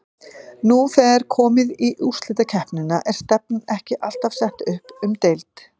Nú þegar er komið í úrslitakeppnina er stefnan ekki alltaf sett upp um deild?